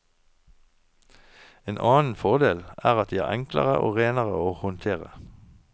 En annen fordel er at de er enklere og renere å håndtere.